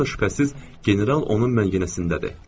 Doğurdan da şübhəsiz, general onun məngənəsindədir.